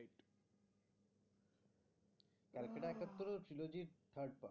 Calcutta একাত্তর ও ছিল যে